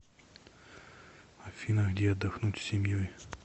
афина где отдохнуть с семьей